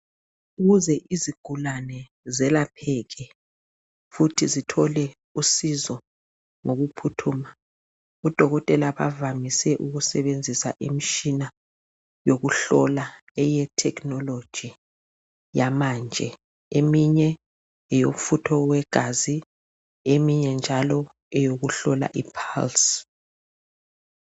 ukuze izigulane zelapheke futhi zithole usizo ngokuphuthuma odokotela bavamise ukusebenzisa imitshina yokuhlola eye technology yamanje eminye ngeyomfutho eyegazi eminye njalo eyokuhlola i pulse